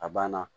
A banna